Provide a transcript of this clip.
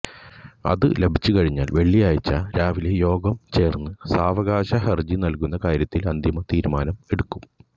അത് ലഭിച്ചുകഴിഞ്ഞാല് വെള്ളിയാഴ്ച രാവിലെ യോഗം ചേര്ന്ന് സാവകാശ ഹരജി നല്കുന്ന കാര്യത്തില് അന്തിമ തീരുമാനമെടുക്കും